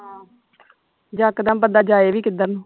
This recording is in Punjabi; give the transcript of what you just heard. ਯਕਦਮ ਬੰਦਾ ਜਾਏ ਵੀ ਕਿੱਧਰ ਨੂੰ